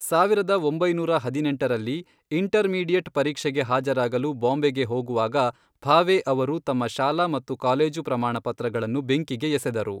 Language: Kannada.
ಸಾವಿರದ ಒಂಬೈನೂರ ಹದಿನೆಂಟರಲ್ಲಿ, ಇಂಟರ್ಮೀಡಿಯೇಟ್ ಪರೀಕ್ಷೆಗೆ ಹಾಜರಾಗಲು ಬಾಂಬೆಗೆ ಹೋಗುವಾಗ, ಭಾವೆ ಅವರು ತಮ್ಮ ಶಾಲಾ ಮತ್ತು ಕಾಲೇಜು ಪ್ರಮಾಣಪತ್ರಗಳನ್ನು ಬೆಂಕಿಗೆ ಎಸೆದರು.